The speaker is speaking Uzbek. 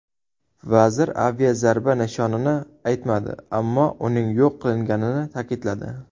Vazir aviazarba nishonini aytmadi, ammo uning yo‘q qilinganini ta’kidladi.